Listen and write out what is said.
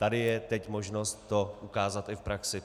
Tady je teď možnost to ukázat i v praxi.